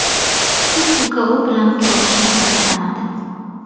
Kichik uka u bilan ko‘rishishni istamadi.